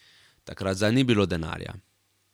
Takrat zanj ni bilo denarja.